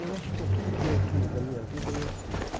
Eu acho que aquilo que eu quis na minha vida, eu fiz.